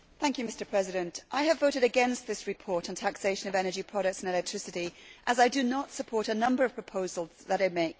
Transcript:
Mr President, I have voted against this report on the taxation of energy products and electricity as I do not support a number of the proposals that it makes.